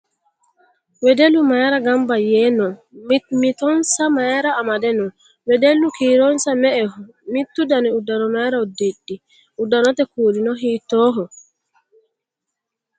Wedellu mayiira gamba yee noo? Mimmitonsa mayiira amadde noo? Wedellu kiironsa me"eho? Mittu dani uddano mayiira udidhi? Uddanote kuulino hiittoho?